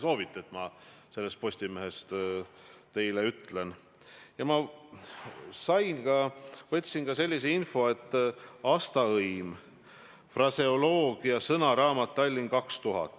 Selgitasin seda, kuidas ma seda teen, näiteks eile, olles Lääne-Virumaal ja kohtudes Rakvere gümnaasiumi noortega, olles Lääne-Virumaal ja kohtudes valdavalt eakamate inimestega.